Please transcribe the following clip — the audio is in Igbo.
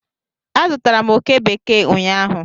Azụtara m oke bekee ụnyaahụ.